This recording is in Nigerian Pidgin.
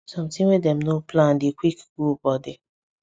something wey dem no plan dey quick cool body